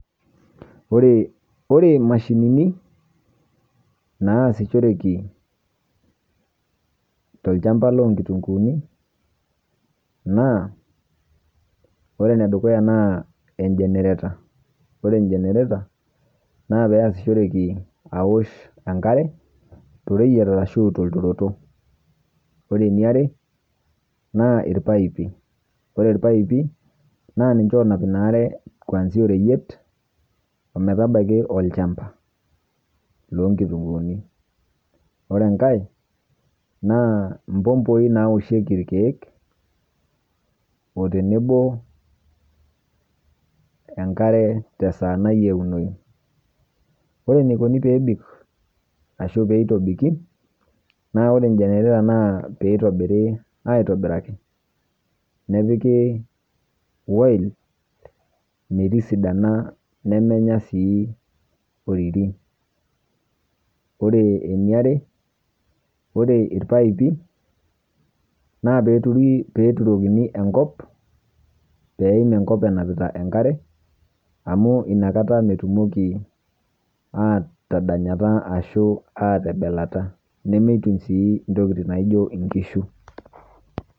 Oree, ore imashinini naasishoreki tolchamba loonkitunguuni naa ore nedukuya naa enjenereta, ore enjenereta naapeasishoreki awosh enkare toreyet arashu tolturoto. Ore eniare naa ilpaipi. Ore ilpaipi naaninche oonap inaare kuanzia oreyiet ometabaiki olchamba loonkitunguuni. Ore engai naa impompoi naaoshieki ilkeek o tenebo enkare tesaa nayieunoyu. Ore eneikoni peebik ashu peitobiki naa ore enjenereta naa peitobiri aitobiraki nepiki woil metisidana nemenya sii oriri. Ore eniare ore irpaipi naapeeturi, peeturokini enkop peeim enkop enapita enkare amu inakata metumoki aatadanyata ashuu aatebelata nemeituny sii intokitin naijo inkishu.